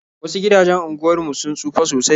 Wasu gidajen unguwar mu sun tsufa sosai.